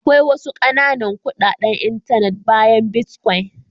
Akwai wasu ƙananan kuɗaɗen intanet bayan bitcoin.